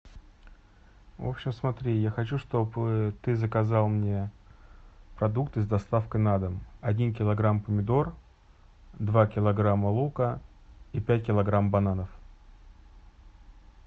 в общем смотри я хочу чтобы ты заказал мне продукты с доставкой на дом один килограмм помидор два килограмма лука и пять килограмм бананов